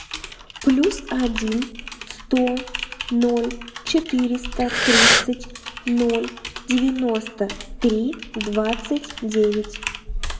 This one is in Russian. плюс один сто ноль четыреста тридцать ноль девяносто три двадцать девять